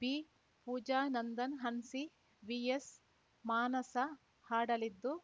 ಬಿಪೂಜಾ ನಂದನ್‌ ಹನ್ಸಿ ವಿಎಸ್‌ಮಾನಸ ಹಾಡಲಿದ್ದು